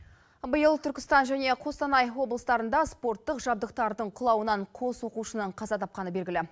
биыл түркістан және қостанай облыстарында спорттық жабдықтардың құлауынан қос оқушының қаза тапқаны белгілі